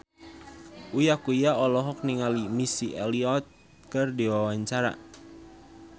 Uya Kuya olohok ningali Missy Elliott keur diwawancara